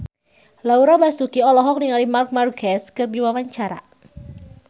Laura Basuki olohok ningali Marc Marquez keur diwawancara